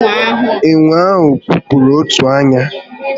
Ènwè ahụ kụkpọrọ otu ányá